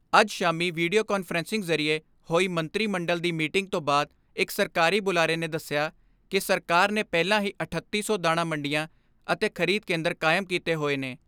ਅੱਜ ਸ਼ਾਮੀ video conferencing ਜ਼ਰੀਏ ਹੋਈ ਮੰਤਰੀ ਮੰਡਲ ਦੀ ਮੀਟਿੰਗ ਤੋਂ ਬਾਅਦ ਇਕ ਸਰਕਾਰੀ ਬੁਲਾਰੇ ਨੇ ਦਸਿਆ ਕਿ ਸਰਕਾਰ ਨੇ ਪਹਿਲਾਂ ਹੀ ਅਠੱਤੀ ਸੌ ਦਾਣਾ ਮੰਡੀਆਂ ਅਤੇ ਖਰੀਦ ਕੇਂਦਰ ਕਾਇਮ ਕੀਤੇ ਹੋਏ ਨੇ।